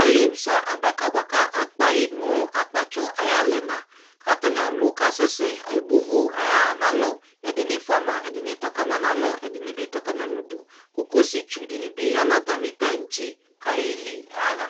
Ali mo sa adaka boako akpae no akpatsɔ aye alɛna ko atane alu kasɛsɛ Ebo uvu aya nalɔ ko ɛdene fua ma, ɛdene tɔ ka ma no alɔ, ɛdene be tɔ ka ma no uduKokosi tsu de ne ya no tane tantse ko aye li yaha